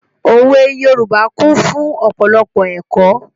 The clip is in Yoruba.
Òwe Yorùbá kún fún ọ̀pọ̀lọpọ̀ ẹ̀kọ́.